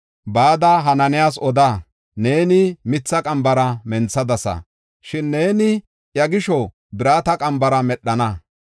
Bada Hanaanas oda; “Neeni mitha qambara menthadasa; shin neeni iya gisho birata qambara medhana.